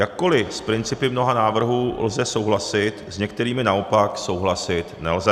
Jakkoliv s principy mnoha návrhů lze souhlasit, s některými naopak souhlasit nelze.